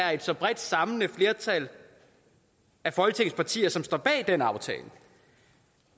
er så bredt et samlende flertal af folketingets partier som står bag den aftale